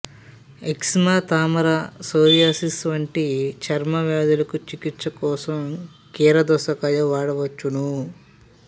eczema తామర psoriasis వంటి చర్మ వ్యాదులకు చికిత్సకోసం కీరదోషకాయ వాడవచ్చును